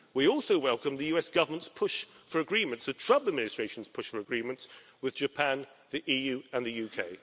We also welcome the US Government's push for agreements the Trump administration's push for agreements with Japan, the EU and the UK.